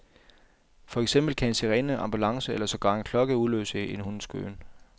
For eksempel kan en sirene, ambulance eller sågar en klokke udløse en hunds gøen.